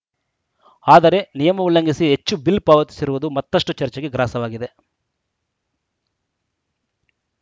ಆದರೆ ನಿಯಮ ಉಲ್ಲಂಘಿಸಿ ಹೆಚ್ಚು ಬಿಲ್‌ ಪಾವತಿಸಿರುವುದು ಮತ್ತಷ್ಟುಚರ್ಚೆಗೆ ಗ್ರಾಸವಾಗಿದೆ